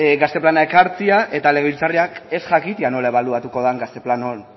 gazte plana ekartzea eta legebiltzarrak ez jakitea nola ebaluatu den gazte plan